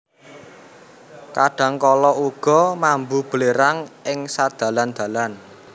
Kadang kala uga mambu belerang ing sadalan dalan